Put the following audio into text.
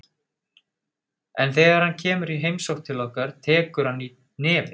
En þegar hann kemur í heimsókn til okkar tekur hann í nefið.